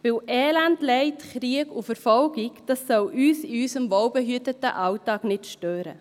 Denn Elend, Leid, Krieg und Verfolgung, das soll uns in unserem wohlbehüteten Alltag nicht stören.